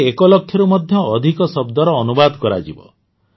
ଏଥିରେ ୧ ଲକ୍ଷରୁ ମଧ୍ୟ ଅଧିକ ଶବ୍ଦର ଅନୁବାଦ କରାଯିବ